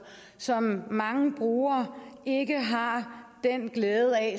som mange brugere ikke har den glæde af